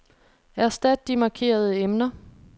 Erstat de markerede emner.